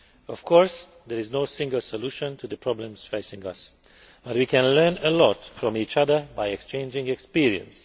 Of course, there is no single solution to the problems facing us, but we can learn a lot from each other by exchanging experience.